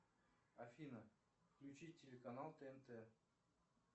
афина включить телеканал тнт